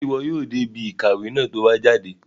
Ṣe iwọ yóò dé ibí ìkàwé náà ti o bá jáde?